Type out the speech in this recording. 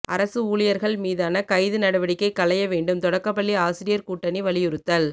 அரசு ஊழியர்கள் மீதான கைது நடவடிக்கை களைய வேண்டும் தொடக்கப்பள்ளி ஆசிரியர் கூட்டணி வலியுறுத்தல்